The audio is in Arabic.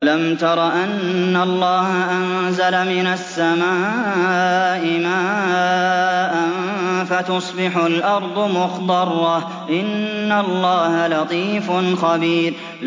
أَلَمْ تَرَ أَنَّ اللَّهَ أَنزَلَ مِنَ السَّمَاءِ مَاءً فَتُصْبِحُ الْأَرْضُ مُخْضَرَّةً ۗ إِنَّ اللَّهَ لَطِيفٌ خَبِيرٌ